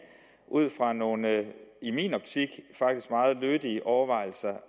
ud fra nogle i min optik faktisk meget lødige overvejelser